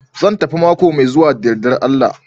Zan tafi mako mai zuwa da yardar Allah